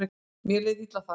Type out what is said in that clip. Mér leið illa þar.